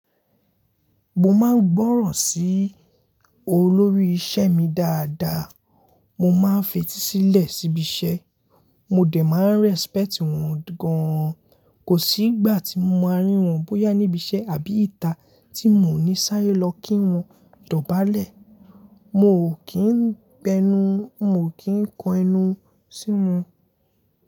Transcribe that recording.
Mo máa ń gbọ́ràn sí olórí isẹ́ mi dáadáa, mo máa ń fetísílẹ̀ síbi isẹ́, mo dẹ̀ máa ń respect wọn gan. Kò sí ìgbà tí mo máa rín wọn bóyá níbi iṣẹ́ àbí ìta tí mò ní sáré lọ kí wọn dọ̀bálẹ̀. Mo ò kí ń bẹnu, mo ò kí ń kan ẹnu sí wọn.